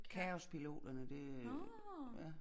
Kaospiloterne det øh ja